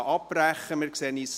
Ich breche die Debatte hier ab.